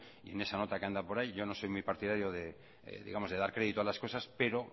y en esa nota que anda por ahí yo no soy muy partidario de dar crédito a las cosas pero